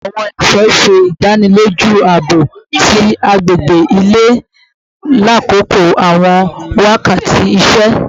Aawon esho ṣe idaniloju aabo ti agbegbe ile lakoko awọn wakati iṣẹ